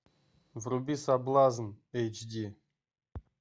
вруби соблазн эйч ди